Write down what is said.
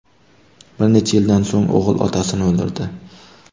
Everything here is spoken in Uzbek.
Bir necha yildan so‘ng o‘g‘il otasini o‘ldirdi.